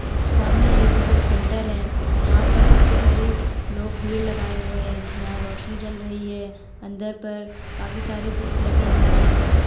सामने एक book centre है। यहाँ पर काफी सारी लोग भीड़ लगाए हुए हैं। यहां रोशनी जल रही है। अंदर पर काफी सारे बुक्स लगी हुई हैं।